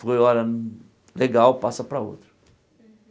Foi hora hum legal, passa para outra.